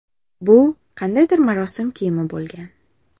Bu qandaydir marosim kiyimi bo‘lgan.